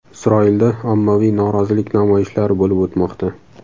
Isroilda ommaviy norozilik namoyishlari bo‘lib o‘tmoqda.